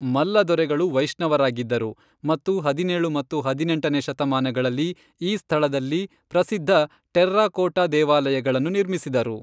ಮಲ್ಲ ದೊರೆಗಳು ವೈಷ್ಣವರಾಗಿದ್ದರು ಮತ್ತು ಹದಿನೇಳು ಮತ್ತು ಹದಿನೆಂಟನೇ ಶತಮಾನಗಳಲ್ಲಿ ಈ ಸ್ಥಳದಲ್ಲಿ ಪ್ರಸಿದ್ಧ ಟೆರ್ರಾಕೋಟಾ ದೇವಾಲಯಗಳನ್ನು ನಿರ್ಮಿಸಿದರು.